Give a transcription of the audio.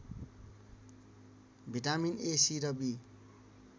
vitamin A C र be